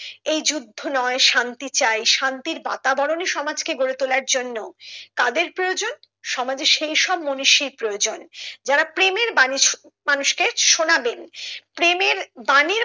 এই যুদ্ধ নয় শান্তি চাহি শান্তির বাতাবরণে সমাজকে গড়ে তোলার জন্য কাদের প্রয়োজন সমাজে সেইসব মনীষীর প্রয়োজন যারা প্রেমের বাণী মানুষকে শোনাবেন প্রেমের বাণী